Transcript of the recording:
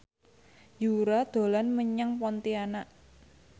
Yura dolan menyang Pontianak